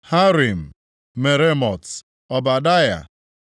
Harim, Meremot, Ọbadaya,